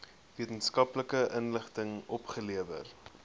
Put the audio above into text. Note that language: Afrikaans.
wetenskaplike inligting opgelewer